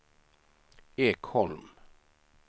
Ekholm